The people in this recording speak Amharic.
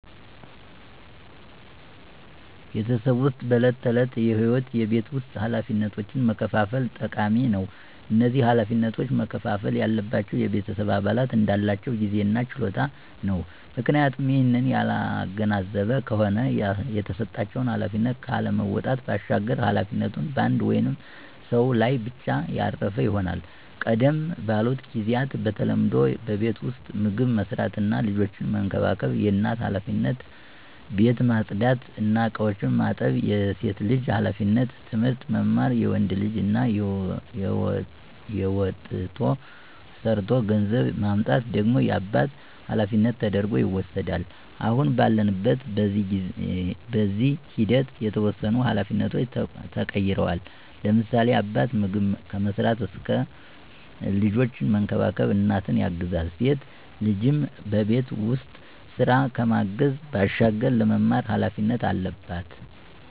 በቤተሰብ ዉስጥ በዕለት ተዕለት ህይወት የቤት ውስጥ ኃላፊነቶችን መከፋፈል ጠቃሚ ነው። እነዚህ ኃላፊነቶች መከፍፈል ያለባቸው የቤተሰብ አባላት እንዳላቸው ጊዜ እና ችሎታ ነው፤ ምክንያቱም ይህንን ያላገናዘበ ከሆነ የተሰጣቸውን ኃላፊነት ካለመወጣት ባሻገር ኃላፊነቱ በአንድ ወይም ሰው ላይ ብቻ ያረፈ ይሆናል። ቀደም ባሉት ጊዚያት በተለምዶ በቤት ዉስጥ ምግብ መስራት እና ልጆችን መንከባከብ የእናት ኃላፊነት፣ ቤት ማፅዳት እና እቃዎችን ማጠብ የሴት ልጅ ኃላፊነት፣ ትምህርት መማር የወንድ ልጅ እና ወጥቶ ሠርቶ ገንዘብ ማምጣት ደግሞ የአባት ኃላፊነት ተደርጐ ይወስዳል። አሁን ባለንበት በጊዜ ሂደት የተወሰኑ ኃላፊነቶች ተቀይረዋል፤ ለምሳሌ፦ አባት ምግብ ከመስራት እስከ ልጆችን መንከባከብ እናትን ያግዛል፣ ሴት ልጅም በቤት ውስጥ ስራ ከማገዝ ባሻገር ለመማር ኃላፊነት አለባት።